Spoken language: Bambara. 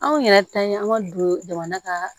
Anw yɛrɛ ta ye an ma don jamana ka